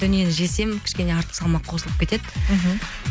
дүниені жесем кішкене артық салмақ қосылып кетеді мхм